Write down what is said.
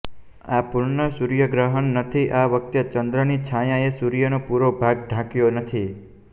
આ પૂર્ણ સૂર્ય ગ્રહણ નથી આ વખતે ચંદ્રની છાયાએ સૂર્યનો પુરો ભાગ ઢાંકયો નથી